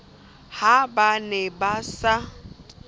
ha ba ne ba sa